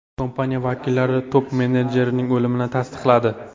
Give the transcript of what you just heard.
Kompaniya vakillari top-menejerning o‘limini tasdiqladi.